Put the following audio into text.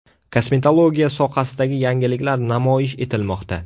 Kosmetologiya sohasidagi yangiliklar namoyish etilmoqda.